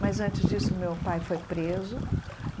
Mas antes disso, meu pai foi preso.